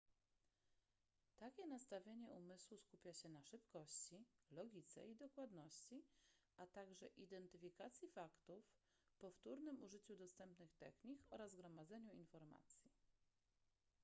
takie nastawienie umysłu skupia się na szybkości logice i dokładności a także identyfikacji faktów powtórnym użyciu dostępnych technik oraz gromadzeniu informacji